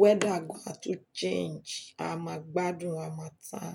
Weather gan a tún change, a máa gbádùn harmattan.